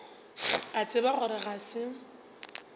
a tseba gore ga se